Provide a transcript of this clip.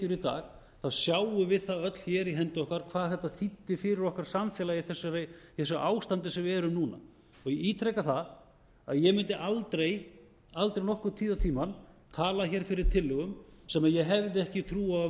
í dag sjáum við það öll hér í hendi okkar hvað þetta þýddi fyrir okkar samfélag í þessu ástandi sem við erum í núna ég ítreka það að ég mundi aldrei nokkurn tíð dag tíma tala hér fyrir tillögum sem ég hefði ekki trú á að væru